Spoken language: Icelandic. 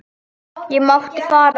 Ég mátti fara.